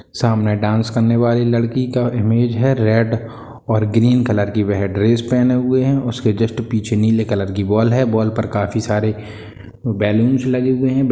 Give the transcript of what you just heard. सामने डांस करने वाली लड़की का इमेज है रेड और ग्रीन की वह ड्रेस पहने हुए हैं उसके जस्ट पीछे नीले कलर की वॉल है वॉल पे काफी सारे बैलूंस लगे हुए हैं।